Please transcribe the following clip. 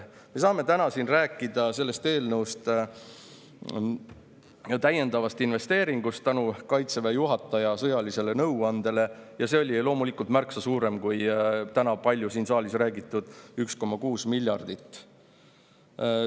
Me saame täna siin rääkida sellest eelnõust ja täiendavast investeeringust tänu Kaitseväe juhataja sõjalisele nõuandele, mis see loomulikult märksa kui täna siin saalis palju räägitud 1,6 miljardit.